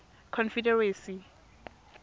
confederacy